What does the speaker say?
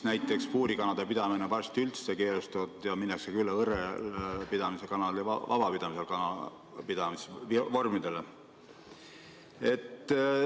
Näiteks on puurikanade pidamine varsti üldse keelustatud ja minnaksegi üle õrrelpidamisele, kanade vabapidamise vormidele.